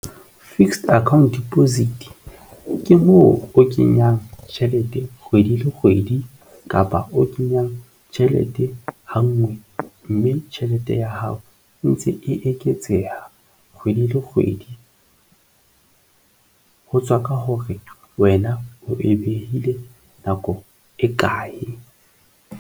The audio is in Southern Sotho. Fixed account deposit ke moo o kenyang tjhelete kgwedi le kgwedi kapa o kenyang tjhelete ha ngwe, mme tjhelete ya hao entse eketseha kgwedi le kgwedi ho tswa ka hore wena o e behile nako e kae.